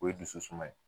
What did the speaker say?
O ye dusu suma ye